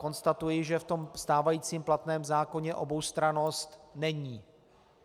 Konstatuji, že v tom stávajícím platném zákoně oboustrannost není.